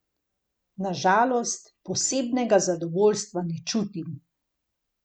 Na žalost, posebnega zadovoljstva ne čutim.